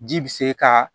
Ji bi se kaa